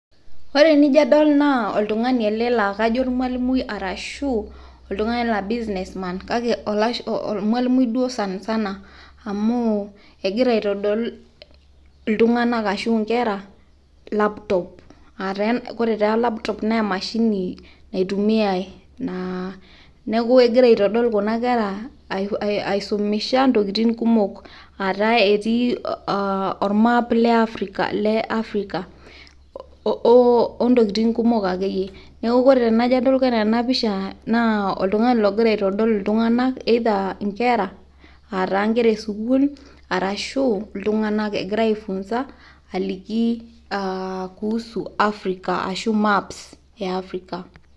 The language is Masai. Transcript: Ore tenijo adol naa oltung'ani laijo olmualimui, arashu oltung'ani laijo business man kake olmualimui duo sanisana amu egira aitodol, iltung'anak ashu inkera laptop. Kore taa laptop naa emashini naitumiai naa. Neaku egira aitodol kuna kera, aishumisha intokiting kumok, Aataa etii ormap le Africa, ontokiting kumok akeyie. Neaku kore tenajo adol kore enapicha naa oltung'ani ogira aitodol iltung'anak either inkera, aataa inkera esukuul , iltung'anak egirai aifunza aliki aa kuhusu Africa arashu maps e Africa.